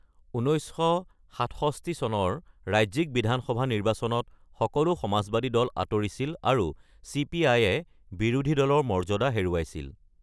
১৯৬৭ চনৰ ৰাজ্যিক বিধানসভা নিৰ্বাচনত সকলো সমাজবাদী দল আঁতৰিছিল আৰু চিপিআইয়ে বিৰোধী দলৰ মৰ্যাদা হেৰুৱাইছিল৷